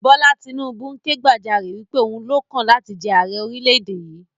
Bọlá Tinubu ń ké gbàjarè wípé Òun lọ́kàn láti jẹ àrẹ orílẹ̀ èdè yìí